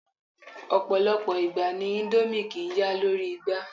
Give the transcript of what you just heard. Ọ̀pọ̀lọpọ̀ ìgbà ni indomie kìí ya lórí igba